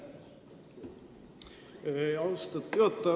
Aitäh, austatud juhataja!